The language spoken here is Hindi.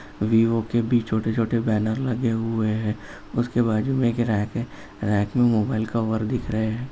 वीवो के भी छोटे-छोटे बेनर लगे हुए हैं उसके बाजू में एक रैक है। रैक मोबाइल कवर दिख रहे हैं।